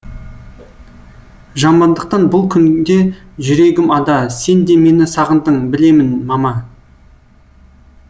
жамандықтан бұл күнде жүрегім ада сен де мені сағындың білемін мама